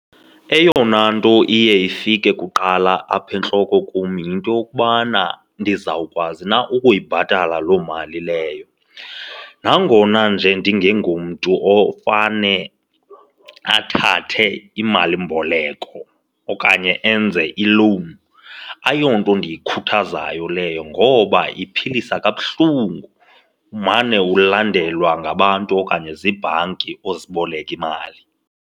Eyona into iye ifike kuqala apha entloko kum yinto yokubana ndizawukwazi na ukuyibhatala loo mali leyo. Nangona nje ndingengomntu ofane athathe imalimboleko okanye enze ilowuni, ayonto endiyikhuthazayo leyo ngoba iphilisa kabuhlungu, umane ulandelwa ngabantu okanye ziibhanki oziboleke imali.